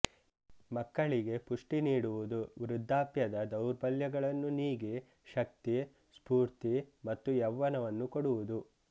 ಮಕ್ಕಳಿಗೆ ಪುಷ್ಟಿ ನೀಡಿವುದು ವೃದ್ಧಾಪ್ಯದ ದೌರ್ಬಲ್ಯಗಳನ್ನು ನೀಗಿ ಶಕ್ತಿ ಸ್ಫೂರ್ತಿ ಮತ್ತು ಯೌವನವನ್ನು ಕೊಡುವುದು